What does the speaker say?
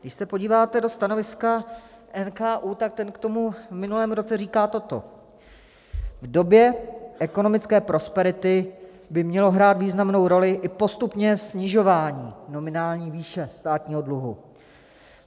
Když se podíváte do stanoviska NKÚ, tak ten k tomu v minulém roce říká toto: V době ekonomické prosperity by mělo hrát významnou roli i postupné snižování nominální výše státního dluhu.